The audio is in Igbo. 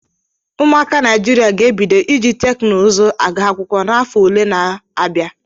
Ụmụaka Naijiria ga-ebido iji teknụzụ agụ akwụkwọ n'afọ ole na ole n'abia.